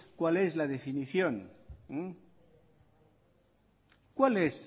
cuál es la definición cuál es